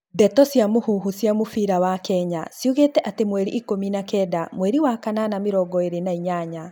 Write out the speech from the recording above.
Ndeto cia muvuvucia muvira wa Kenya ciugite ati mweri ikũmi na kenda mweri wa kanana mĩrongo ĩĩrĩ na inyanya.